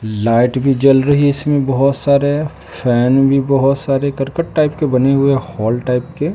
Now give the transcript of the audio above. Light भी जल रही है इसमें बहुत सारे फैन भी बहुत सारे करकट टाइप के बने हुए हॉल टाइप के।